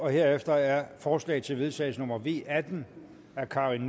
herefter er forslag til vedtagelse nummer v atten af karin